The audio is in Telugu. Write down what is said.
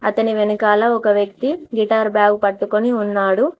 అతని వెనకాల ఒక వ్యక్తి గిటార్ బ్యాగు పట్టుకొని ఉన్నాడు.